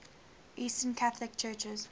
eastern catholic churches